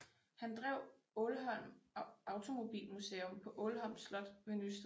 Han drev Aalholm Automobilmuseum på Ålholm Slot ved Nysted